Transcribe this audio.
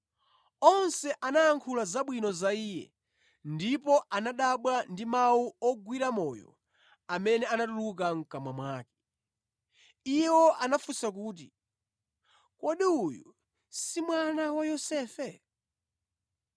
Onse anayankhula zabwino za Iye ndipo anadabwa ndi mawu ogwira moyo amene anatuluka mʼkamwa mwake. Iwo anafunsa kuti, “Kodi uyu si mwana wa Yosefe?”